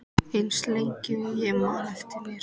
Eins lengi og ég man eftir mér.